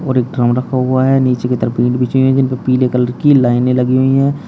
और एक ड्रम रखा हुआ है। नीचे की तरफ ईंट बिछी हुई हैं जिनपे पीले कलर कि लाइनें लगी हुई हैं।